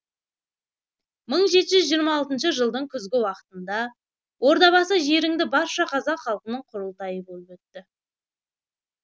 мың жеті жүз жетпіс алтыншы жылдың күзгі уақытында ордабасы жерінді барша қазақ халқының құрылтайы болып өтті